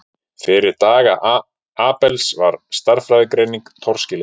Fyrir daga Abels var stærðfræðigreining torskilin.